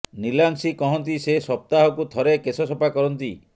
ନିଲାଂଶି କହନ୍ତି ସେ ସପ୍ତାହକୁ ଥରେ କେଶ ସଫା କରନ୍ତି